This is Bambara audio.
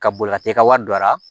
Ka boli ka taa i ka wari don a la